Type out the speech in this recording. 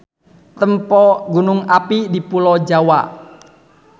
Tempo Gunung api di pulo Jawa.